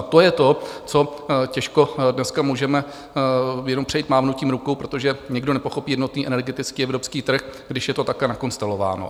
A to je to, co těžko dneska můžeme jen přejít mávnutím rukou, protože nikdo nepochopí jednotný energetický evropský trh, když je to takhle nakonstelováno.